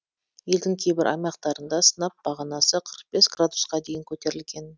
елдің кейбір аймақтарында сынап бағанасы қырық бес градусқа дейін көтерілген